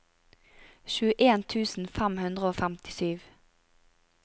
tjueen tusen fem hundre og femtisju